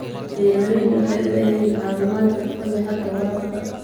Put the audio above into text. Beeraleydu waxay u baahan yihiin caawimaad xirfad leh xagga waraabka.